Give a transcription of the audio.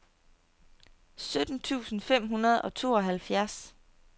sytten tusind fem hundrede og tooghalvfjerds